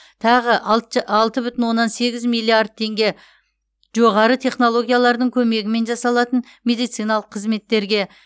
тағы алтж алты бүтін оннан сегіз миллиард теңге жоғары технологиялардың көмегімен жасалатын медициналық қызметтерге